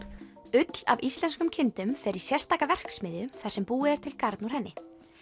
ull af íslenskum kindum fer í sérstaka verksmiðju þar sem búið er til garn úr henni